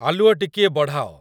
ଆଲୁଅ ଟିକିଏ ବଢ଼ାଅ।